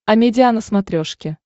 амедиа на смотрешке